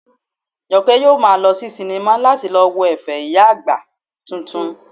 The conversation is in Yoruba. Jọkẹ́ yóò maa lọ sí sinimá láti lọ wo ẹ̀fẹ̀ ìyá àgbà titun